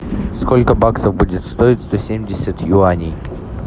сколько баксов будет стоить сто семьдесят юаней